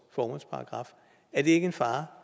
formålsparagraf er det ikke en fare